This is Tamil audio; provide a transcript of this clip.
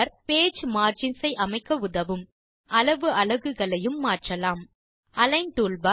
பேஜ் மார்ஜின்ஸ் ஐ அமைக்க உதவும் மற்றும் அளவு அலகுகளையும் மாற்றலாம் அலிக்ன் டூல்பார்